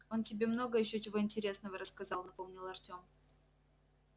он тебе много ещё чего интересного рассказал напомнил артем